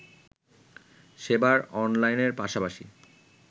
সেবার অনলাইনের পাশাপাশি